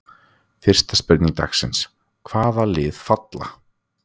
Fyrsta spurning dagsins: Hvaða lið falla?